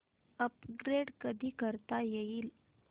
upgrade कधी करता येईल